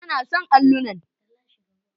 Ba na son allunan.